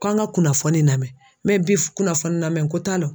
Ko an ka kunnafoni namɛn bi kunnafoni namɛnko t'a la.